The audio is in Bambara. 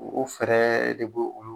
U fɛɛrɛ de b'o olu